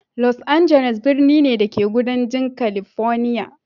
Los Angeles birni ne, da ke kudancin California.